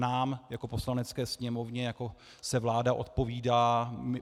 Nám jako Poslanecké sněmovně se vláda odpovídá.